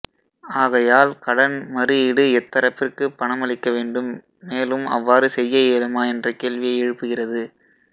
ஆகையால் கடன் மறு ஈடு எத்தரப்பிற்கு பணமளிக்க வேண்டும் மேலும் அவ்வாறு செய்ய இயலுமா என்ற கேள்வியை எழுப்புகிறது